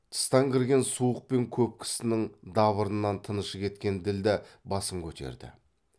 тыстан кірген суық пен көп кісінің дабырынан тынышы кеткен ділдә басын көтерді